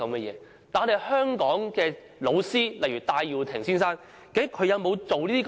然而，香港的老師，例如戴耀廷先生，究竟他有沒有做這些事？